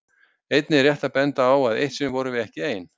Einnig er rétt að benda á að eitt sinn vorum við ekki ein.